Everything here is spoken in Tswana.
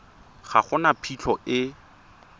ga go na phitlho e